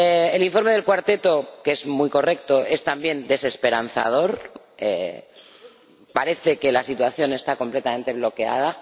El informe de el Cuarteto, que es muy correcto, es también desesperanzador parece que la situación está completamente bloqueada.